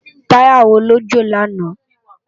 Tàyá wó ló jó làná?